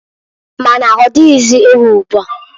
Ma na-ọdịghịzị ewu ugboa.